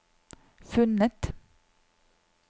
funnet